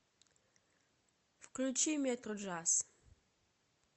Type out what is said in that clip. включи метроджаз